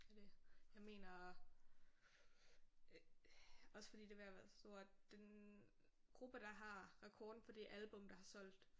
Er det jeg mener øh også fordi det er ved at være sort den gruppe der har rekorden for det album der har solgt